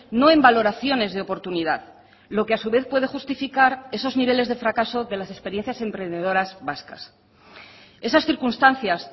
no en valoraciones de oportunidad lo que a su vez puede justificar esos niveles de fracaso de las experiencias emprendedoras vascas esas circunstancias